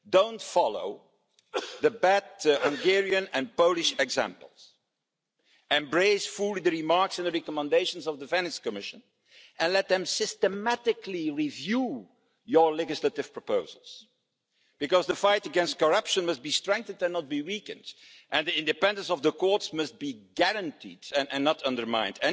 Don't follow the bad Hungarian and Polish examples. Embrace fully the remarks and recommendations of the Venice Commission and let them systematically review your legislative proposals, because the fight against corruption must be strengthened and not weakened, and the independence of the courts must be guaranteed and not undermined.